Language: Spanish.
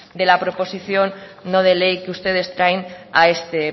de la proposición no de ley que ustedes traen a este